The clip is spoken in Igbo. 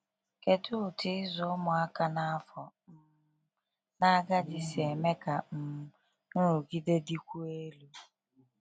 Kedu otu ịzụ ụmụaka na afọ um n'agadi si eme ka um nrụgide dịkwuo elu? um